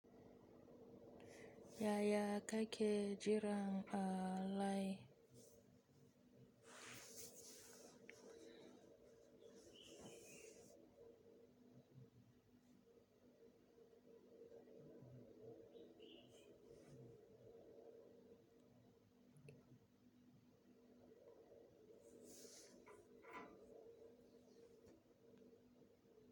Yaya ka ke jiran a layi?